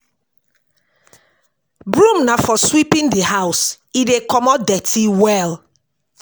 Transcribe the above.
Broom na for sweeping di house, e dey comot dirty well